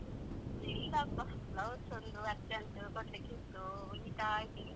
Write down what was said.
ಇಲ್ಲಪ್ಪ blouse ಒಂದು urgent ಕೊಡ್ಲಿಕ್ಕೆ ಇತ್ತು ಹೊಲಿತಾ ಇದ್ದೀನಿ.